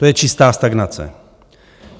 To je čistá stagnace.